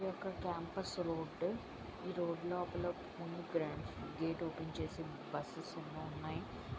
ఇది ఒక campus road . ఈ రోడ్డు లోపల గేట్స్ ఓపెన్ చేసి బస్సెస్ ఎన్నో ఉన్నాయి.